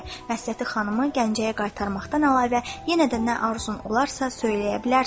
Məsləhəti xanımı Gəncəyə qaytarmaqdan əlavə, yenə də nə arzun olarsa söyləyə bilərsən.